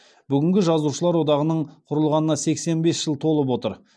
бүгінгі жазушылар одағының құрылғанына сексен бес жыл толып отыр